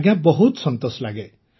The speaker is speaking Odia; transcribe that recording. ଆଜ୍ଞା ବହୁତ ସନ୍ତୋଷ ଲାଗେ